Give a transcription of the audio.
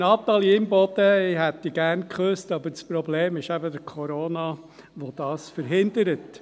Natalie Imboden, ich hätte dich gerne geküsst, aber das Problem ist eben der Corona, der das verhindert.